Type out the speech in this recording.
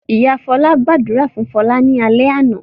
Ìyá Fọlá gbàdúrà fún Fọlá lálẹ́ àná?